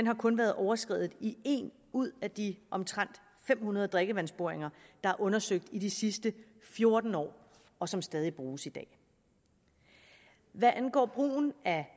har kun været overskredet i en ud af de omtrent fem hundrede drikkevandsboringer der er undersøgt i de sidste fjorten år og som stadig bruges i dag hvad angår brugen af